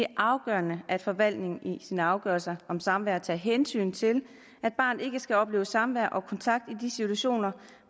afgørende at forvaltningen i sin afgørelse om samvær tager hensyn til at barnet ikke skal opleve samvær og kontakt i de situationer